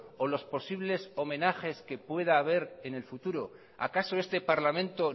o los posibles homenajes que pueda haber en el futuro acaso este parlamento